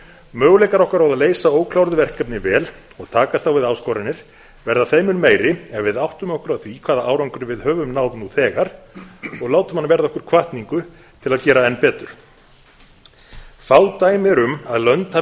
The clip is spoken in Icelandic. möguleikar okkar á að leysa ókláruð verkefni vel og takast á við áskoranir verða þeim mun meiri en við áttum okkur á því hvaða árangri við höfum náð nú þegar og látum hann verða okkur hvatningu til að gera enn betur fá dæmi eru um að lönd